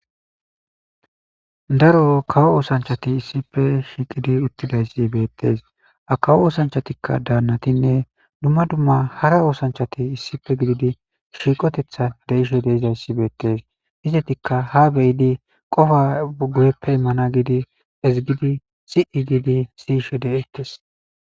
daro kawo oosanchati issife shiiqidi uttidayssi beettees a kawo oosanchatikka daannatinne dumma dumma hara oosanchati issife gididi shiiqotethan deishe deizayssi beettes izetikka ha beyidi qofa uguyeppe immana gidi ezigidi xiigiidi siishe de7ettes